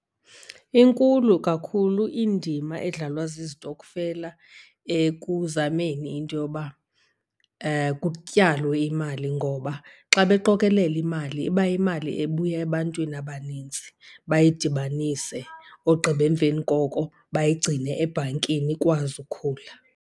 Inkulu kakhulu indima edlalwa zizitokfela ekuzameni into yoba kutyalwe imali. Ngoba xa beqokolela imali iba yimali ebuya ebantwini abanintsi, bayidibanise ogqiba emveni koko bayigcine ebhankini ikwazi ukhula.